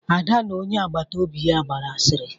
Ada na onye agbata obi ya gbara asịrị.